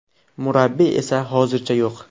Murabbiy esa hozircha yo‘q.